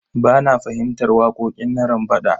Ba na fahimtar waƙoƙin Narambaɗa.